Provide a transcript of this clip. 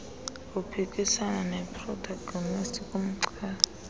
uphikisana neprotagonisti ngumchasi